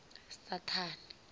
saṱhane